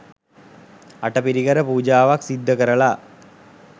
අටපිරිකර පූජාවක් සිද්ධ කරලා